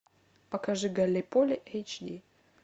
покажи галлиполи эйч ди